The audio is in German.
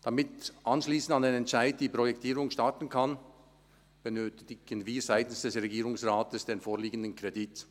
Damit die Projektierung anschliessend an den Entscheid starten kann, benötigen wir seitens des Regierungsrates den vorliegenden Kredit.